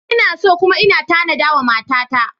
Ina so kuma ina tanada wa matata.